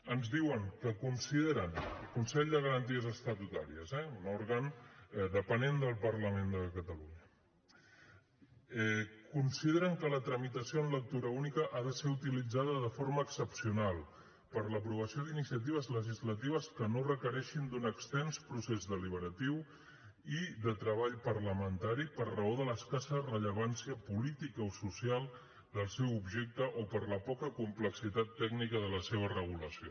ens diuen que consideren el consell de garanties estatutàries eh un òrgan dependent del parlament de catalunya consideren que la tramitació en lectura única ha de ser utilitzada de forma excepcional per a l’aprovació d’iniciatives legislatives que no requereixin d’un extens procés deliberatiu i de treball parlamentari per raó de l’escassa rellevància política o social del seu objecte o per la poca complexitat tècnica de la seva regulació